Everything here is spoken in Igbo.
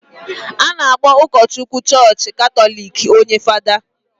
a na-akpọ ụkọchukwu chọọchị Katọlik onye Fada